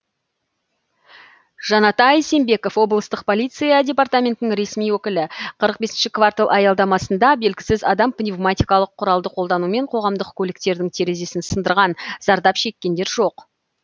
жанатай сембеков облыстық полиция департаментінің ресми өкілі қырық бесінші квартал аялдамасында белгісіз адам пневматикалық құралды қолданумен қоғамдық көліктердің терезесін сындырған зардап шеккендер жоқ